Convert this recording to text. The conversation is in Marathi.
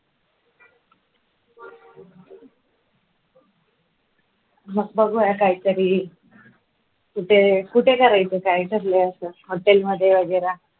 मग बघूया काहीतरी कुठे कुठे करायचे काय ठरलंय आपलं hotel मध्ये वगैरे